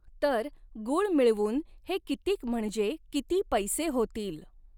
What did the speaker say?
तर गूळ मिळवून हे कितीक म्हणजे किती पैसे होतील